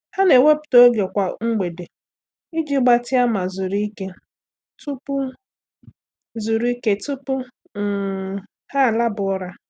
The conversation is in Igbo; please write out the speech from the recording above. Há nà-ewepụ́ta oge kwa mgbede iji gbatịa ma zuru ike tupu zuru ike tupu um há àlábá ụ́ra.